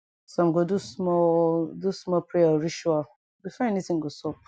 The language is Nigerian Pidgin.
sum go do small do small prayer or ritual before any tin go sup